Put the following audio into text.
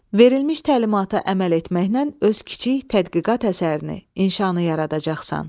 Verilmiş təlimata əməl etməklə öz kiçik tədqiqat əsərini, inşanı yaradacaqsan.